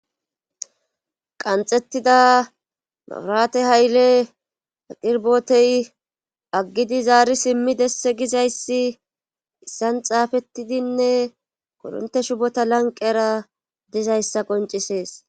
qanxettida mawurate hayle aqirbotey aggidi zaari simmidesse gizayssi issan xaafettidinne koronte shubota lanqera dizayssa qoncisees